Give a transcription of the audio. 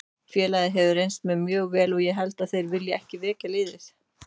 Félagið hefur reynst mér mjög vel og ég held að þeir vilji ekki veikja liðið.